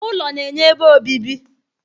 ỤLỌ na-enye ebe obibi